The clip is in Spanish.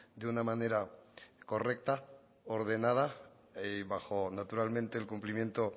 de una manera correcta ordenada y bajo naturalmente el cumplimiento